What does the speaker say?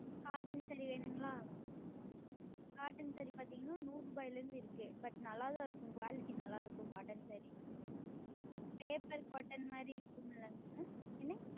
Cotton Saree வேண்டுமா Cotton பார்த்தீர்கள் என்றால் நூறு ரூபாயில் இருந்து இருக்கிறது But நன்றாக தான் இருக்கும் Quality நன்றாக இருக்கும் Cotton SareePaper உடுத்துவது போல் இருக்கும் அல்லவாஆஹ் என்னது